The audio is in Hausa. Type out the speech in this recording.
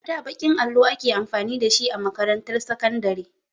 A da baƙin allo ake amfani da shi a makarantar sakandare.